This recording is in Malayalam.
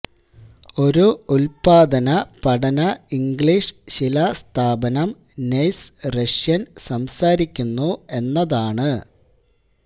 ഒരു ഉൽപാദന പഠന ഇംഗ്ലീഷ് ശിലാസ്ഥാപനം നഴ്സ് റഷ്യൻ സംസാരിക്കുന്നു എന്നതാണ്